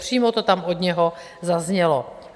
Přímo to tam od něho zaznělo.